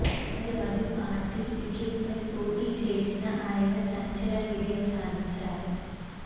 Samajwadi party టికెట్పై పోటీ చేసిన ఆయన సంచలన విజయం సాధించారు